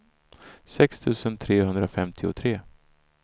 sex tusen trehundrafemtiotre